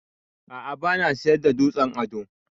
A'a bana siyar da dutsen ado.